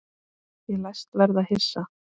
Ég læst verða hissa.